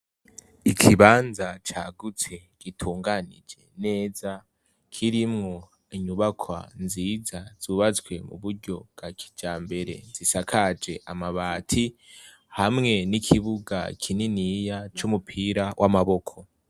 Ikibanza cagutse gitunganije neza kirimu nyubakwa nziza zubatswe mu buryo bwa kijambere zisakaje amabati hamwe n'ikibuga kininiya c'umupira w'amaboko.